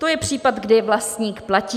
To je případ, kdy vlastník platí.